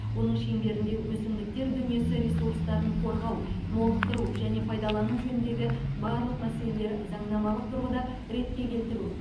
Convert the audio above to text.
оның шеңберінде өсімдіктер дүниесі ресурстарын қорғау молықтыру және пайдалану жөніндегі барлық мәселелер заңнамалық тұрғыда ретке келтіру